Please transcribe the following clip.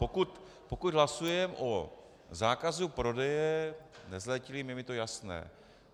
Pokud hlasujeme o zákazu prodeje nezletilým, je mi to jasné.